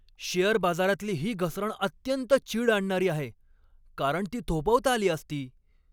Share बाजारातली ही घसरण अत्यंत चीड आणणारी आहे, कारण ती थोपवता आली असती.